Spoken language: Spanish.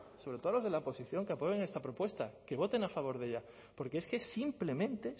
sobre todo a los de la oposición que apoyen esta propuesta que voten a favor de ella porque es que es simplemente